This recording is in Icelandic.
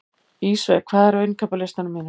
Ísveig, hvað er á innkaupalistanum mínum?